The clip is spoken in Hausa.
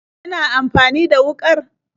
Kina amfani da wuƙar?